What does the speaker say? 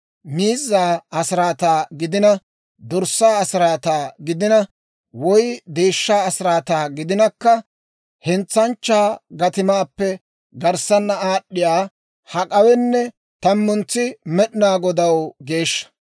Miizzaa asiraataa gidina, dorssaa asiraataa gidina, woy deeshshaa asiraataa gidinakka, hentsanchchaa gatimaappe garssana aad'd'iyaa hak'awenne tammuntsi Med'inaa Godaw geeshsha.